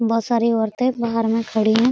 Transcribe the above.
बहोत सारी औरते बाहर में खड़ी है।